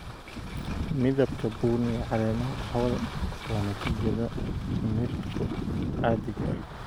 Midabka bunni ee caleemaha qaxwada waa natiijada miridhku caadiga ah.